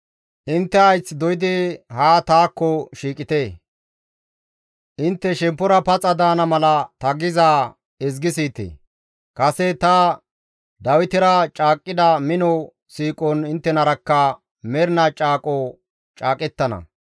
Intte hayth doydi haa taakko shiiqite; intte shemppora paxa daana mala ta gizaa ezgi siyite; kase ta Dawitera caaqqida mino siiqon inttenarakka mernaa caaqo caaqettana.